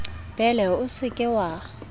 bele o se ke wa